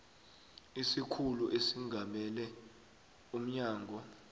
isikhulu esingamele umnyango